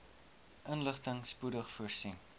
inligting spoedig voorsien